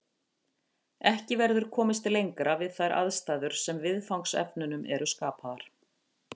Ekki verður komist lengra við þær aðstæður sem viðfangsefnunum eru skapaðar.